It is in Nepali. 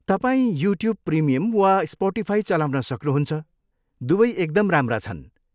तपाईँ युट्युब प्रिमियम वा स्पोटिफाई चलाउन सक्नुहुन्छ, दुवै एकदम राम्रा छन्।